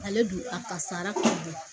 Ale dun a kasara k'u bɔ